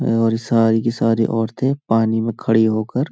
और सारी की सारी औरतें पानी में खड़ी होकर --